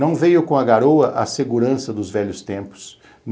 Não veio com a garoa a segurança dos velhos tempos.